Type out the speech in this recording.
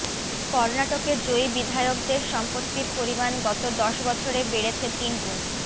কর্নাটকে জয়ী বিধায়কদের সম্পত্তির পরিমাণ গত দশ বছরে বেড়েছে তিনগুণ